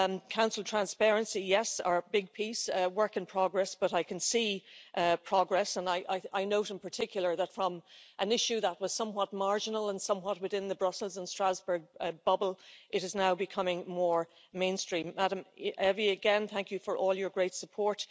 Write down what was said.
Council transparency yes, our big piece, work in progress, but I can see progress and I note in particular that from an issue that was somewhat marginal and somewhat within the Brussels and Strasbourg bubble, it is now becoming more mainstream. Ms Evi, thank you for all your great support.